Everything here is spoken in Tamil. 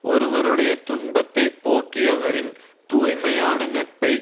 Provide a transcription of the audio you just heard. ஒருவருடைய துன்பத்தை போக்கியவரின் தூய்மையான நட்பை